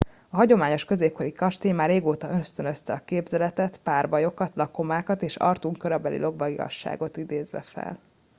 a hagyományos középkori kastély már régóta ösztönözte a képzeletet párbajokat lakomákat és arthur korabeli lovagiasságot idézve fel